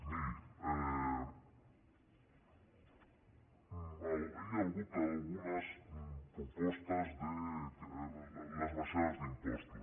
miri hi ha hagut algunes propostes de les baixades d’impostos